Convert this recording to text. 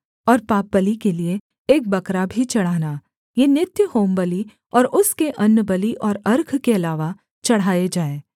और पापबलि के लिये एक बकरा भी चढ़ाना ये नित्य होमबलि और उसके अन्नबलि और अर्घ के अलावा चढ़ाए जाएँ